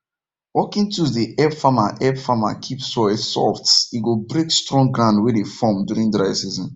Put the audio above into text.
working tools dey help farmer help farmer keep soil soft e go break strong ground wey dey form during dry season